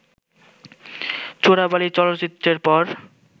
চোরাবালি চলচ্চিত্রের পর